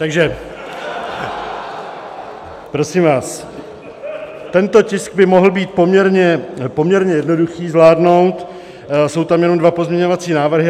Takže prosím vás, tento tisk by mohlo být poměrně jednoduché zvládnout, jsou tam jenom dva pozměňovací návrhy.